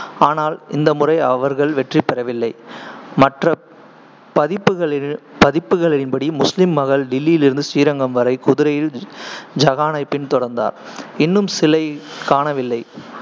ஆனால் இந்த முறை அவர்கள் வெற்றிபெறவில்லை. மற்ற பதிப்புகளி~ பதிப்புகளின்படி, முஸ்லீம் மகள் டில்லியிலிருந்து ஸ்ரீரங்கம் வரை குதிரையில் ஐகானைப் பின்தொடர்ந்தார், இன்னும் சிலையைக் காணவில்லை,